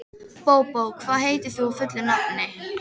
Bóbó, hvað heitir þú fullu nafni?